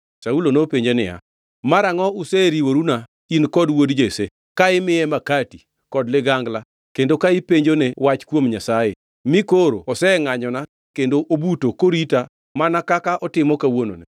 Saulo nopenje niya, “Marangʼo useriworuna, in kod wuod Jesse, ka imiye makati, kod ligangla kendo ka ipenjone wach kuom Nyasaye, mi koro osengʼanyona kendo obuto korita, mana kaka otimo kawuononi?”